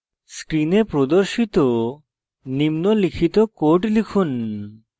screen প্রদর্শিত নিম্নলিখিত code লিখুন